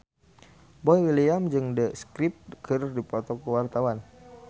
Boy William jeung The Script keur dipoto ku wartawan